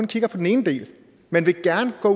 kigger på den ene del man vil gerne gå